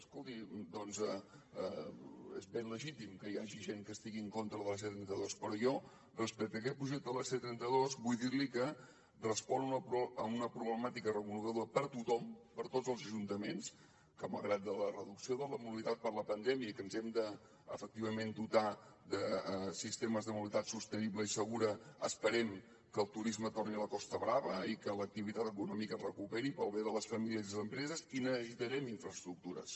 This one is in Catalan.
escolti doncs és ben legítim que hi hagi gent que estigui en contra de la c trenta dos però jo respecte a aquest projecte de la c trenta dos vull dir li que respon a una problemàtica reconeguda per tothom per tots els ajuntaments que malgrat la reducció de la mobilitat per la pandèmia i que ens hem de efectivament dotar de sistemes de mobilitat sostenible i segura esperem que el turisme torni a la costa brava i que l’activitat econòmica es recuperi pel bé de les famílies i les empreses i necessitarem infraestructures